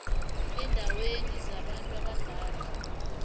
eendaweni zabantu abadala